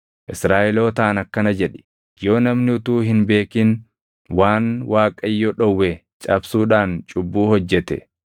“Israaʼelootaan akkana jedhi; ‘Yoo namni utuu hin beekin waan Waaqayyo dhowwe cabsuudhaan cubbuu hojjete.